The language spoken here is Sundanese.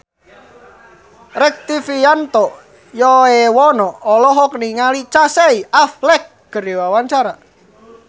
Rektivianto Yoewono olohok ningali Casey Affleck keur diwawancara